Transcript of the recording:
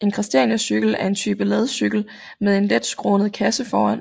En christianiacykel er en type ladcykel med en let skrånende kasse foran